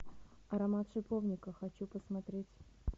аромат шиповника хочу посмотреть